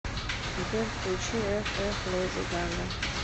сбер включи эх эх леди гага